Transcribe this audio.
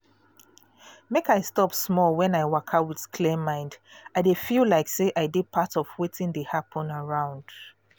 make i stop small when i waka with clear mind i dey feel like say i de part of wetin dey happen around